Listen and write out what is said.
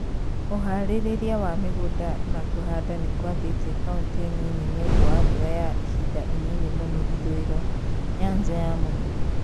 Ũharĩria wa mĩgunda na kũhanda nĩkwambĩtie kauntĩ nini nĩũndũ wa mbura ya ihinda inini mũno ithũiro, Nyanza ya mũhuro